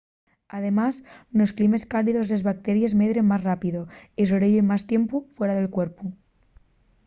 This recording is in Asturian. además nos climes cálidos les bacteries medren más rápido y sobreviven más tiempu fuera del cuerpu